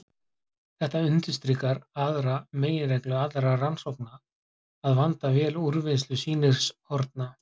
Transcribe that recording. Þetta undirstrikar aðra meginreglu allra rannsókna: að vanda vel úrvinnslu sýnishorna.